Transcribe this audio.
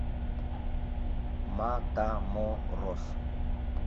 матаморос